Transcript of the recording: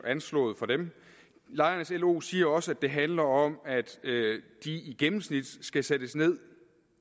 anslået fra dem lejernes lo siger også at det handler om at de i gennemsnit skal sættes ned